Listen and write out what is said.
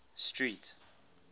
street